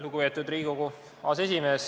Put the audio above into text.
Lugupeetud Riigikogu aseesimees!